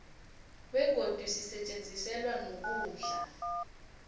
begodi sisetjenziselwa nokudla